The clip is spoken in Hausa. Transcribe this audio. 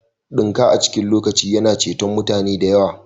Dinka a cikin lokaci yana ceton mutane da yawa